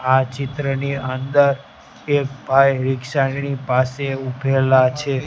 આ ચિત્રની અંદર એક ભાઈ રીક્ષા ની પાસે ઉભેલા છે.